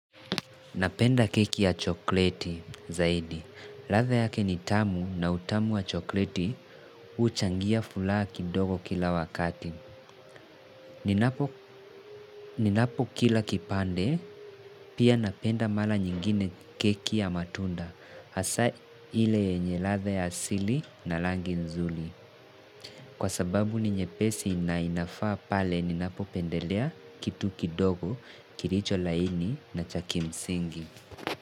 Napenda keki ya chokleti zaidi. Ladha yake ni tamu na utamu wa chokleti huchangia furaha kidogo kila wakati. Ninapokila kipande, pia napenda mara nyingine keki ya matunda. Hasa ile yenye ladha ya asili na rangi nzuri. Kwa sababu ni nyepesi na inafaa pale, ninapopendelea kitu kidogo, kilicho laini na cha kimsingi.